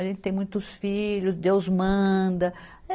A gente tem muitos filhos, Deus manda.